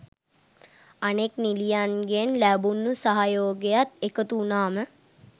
අනෙක් නිළියගෙන් ලැබුණු සහයෝගයත් එකතු වුණාම